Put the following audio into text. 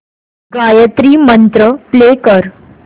गायत्री मंत्र प्ले कर